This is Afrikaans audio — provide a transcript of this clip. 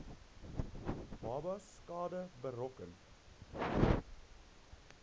babas skade berokken